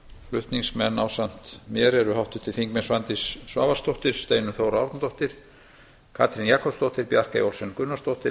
flutningsmenn ásamt mér eru háttvirtir þingmenn svandís svavarsdóttir steinunn þóra árnadóttir katrín jakobsdóttir bjarkey olsen gunnarsdóttir